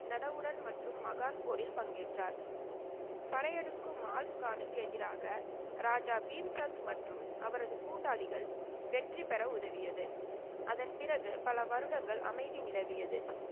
நடவுடன் மற்றும் மகான் போரில் பங்கேற்றார். படையெடுக்கும் மால்ஸ்கானுக்கு எதிராக ராஜா பீம்சந்த் மற்றும் அவரது கூட்டாளிகள் வெற்றிபெற உதவியது. அதன் பிறகு பல வருடங்கள் அமைதி நிலவியது.